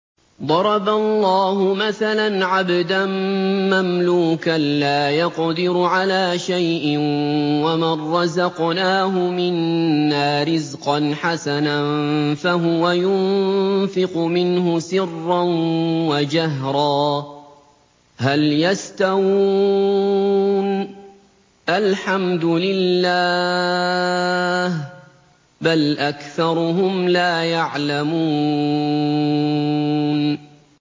۞ ضَرَبَ اللَّهُ مَثَلًا عَبْدًا مَّمْلُوكًا لَّا يَقْدِرُ عَلَىٰ شَيْءٍ وَمَن رَّزَقْنَاهُ مِنَّا رِزْقًا حَسَنًا فَهُوَ يُنفِقُ مِنْهُ سِرًّا وَجَهْرًا ۖ هَلْ يَسْتَوُونَ ۚ الْحَمْدُ لِلَّهِ ۚ بَلْ أَكْثَرُهُمْ لَا يَعْلَمُونَ